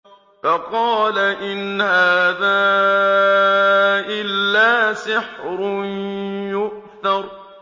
فَقَالَ إِنْ هَٰذَا إِلَّا سِحْرٌ يُؤْثَرُ